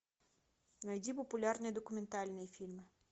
найди популярные документальные фильмы